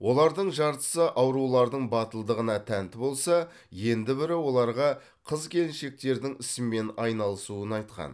олардың жартысы аурулардың батылдығына тәнті болса енді бірі оларға қыз келіншектердің ісімен айналысуын айтқан